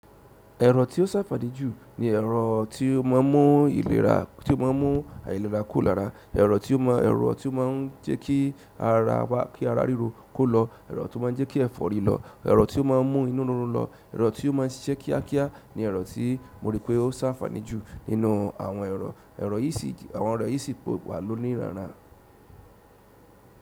Ẹ̀rọ tí ó ṣàfàní jù ni ẹ̀rọ tí ó máa ń mú ìlera, tí ó máa ń mú àìlera kó lára, ẹ̀rọ tí ó máa ń jẹ́ kí ara ríro kó lọ, ẹ̀rọ tó máa ń jẹ́ kí ẹ̀fọ́ rì lọ, ẹ̀rọ tí ó máa ń mú inú rírun lọ, ero ti o maa n sise kíákíá ni ero ti mo ripe o se àǹfààní ju nínú àwọn ẹrọ, àwọn ẹrọ yi si po wa loni ranran.